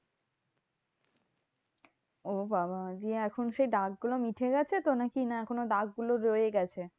ও বাবা দিয়ে এখন সেই দাগগুলো মুছে গেছে তো নাকি? না এখনো দাগগুলো রয়ে গেছে?